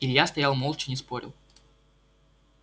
илья стоял молча не спорил